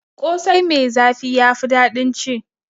Ƙosai mai zafi ya fi daɗin ci.